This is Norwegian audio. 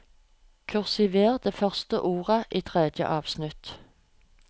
Kursiver det første ordet i tredje avsnitt